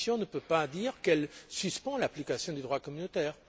La Commission ne peut pas décider de suspendre l'application du droit communautaire.